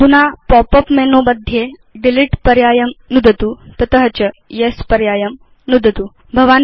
अधुना pop up menu मध्ये delete पर्यायं नुदतु तत च येस् पर्यायं नुदतु